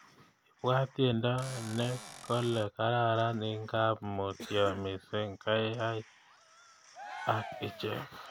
Ibwat tyendo ni kole gararan ingap mutyo mising kiyay ak ichek